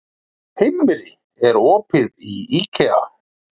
Himri, er opið í IKEA?